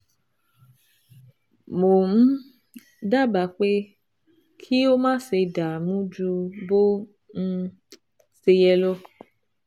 Mo um dábàá pé kí o máṣe dààmú ju bó um ṣe yẹ lọ